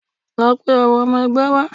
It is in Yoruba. Lọ pe awon ọmọ ẹgbẹ́ wá!